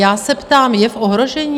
Já se ptám, je v ohrožení?